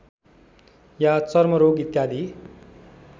या चर्मरोग इत्यादि